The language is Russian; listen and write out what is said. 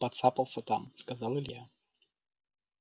поцапался там сказал илья